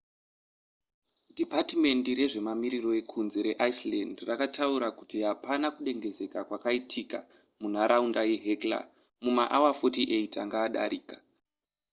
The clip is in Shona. dhipatimendi rezvemamiriro ekunze reiceland rakataura kuti hapana kudengenyeka kwakaitika munharaunda yehekla mumaawa 48 anga adarika